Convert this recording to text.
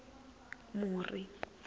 muri